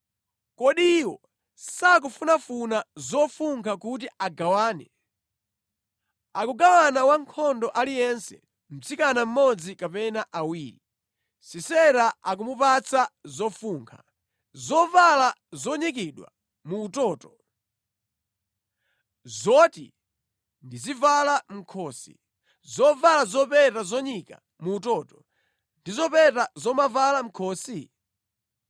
‘Kodi iwo sakufunafuna zofunkha kuti agawane; akugawana wankhondo aliyense mtsikana mmodzi kapena awiri. Sisera akumupatsa zofunkha: zovala zonyikidwa mu utoto, zoti ndizivala mʼkhosi zovala zopeta zonyika mu utoto, ndi zopeta zomavala mʼkhosi?’